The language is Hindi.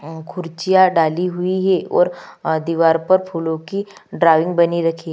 खुर्चियाँ डाली हुई है और दीवार पर फूलों की ड्राइंग बनी रखी है।